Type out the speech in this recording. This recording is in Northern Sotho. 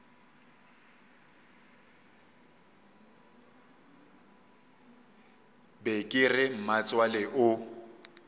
be ke re mmatswale o